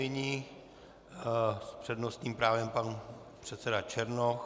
Nyní s přednostním právem pan předseda Černoch.